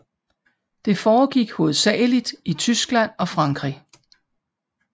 Det foregik hovedsageligt i Tyskland og Frankrig